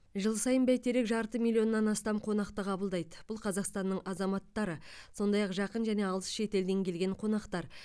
жыл сайын бәйтерек жарты миллионнан астам қонақты қабылдайды бұл қазақстанның азаматтары сондай ақ жақын және алыс шетелден келген қонақтар